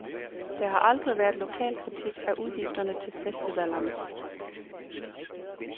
Der har aldrig været lokal kritik af udgifterne til festivallerne.